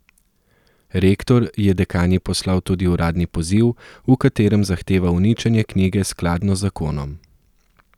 Rektor je dekanji poslal tudi uradni poziv, v katerem zahteva uničenje knjige skladno z zakonom.